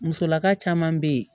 Musolaka caman bɛ yen